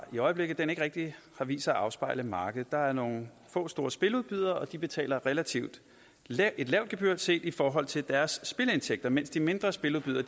i øjeblikket ikke rigtig har vist sig at afspejle markedet der er nogle få store spiludbydere og de betaler et relativt lavt gebyr set i forhold til deres spilindtægter mens de mindre spiludbydere